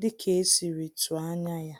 dika esiri tụọ ányá ya.